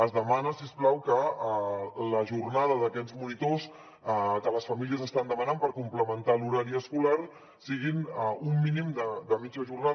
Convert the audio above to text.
es demana si us plau que la jornada d’aquests monitors que les famílies estan demanant per complementar l’horari escolar sigui un mínim de mitja jornada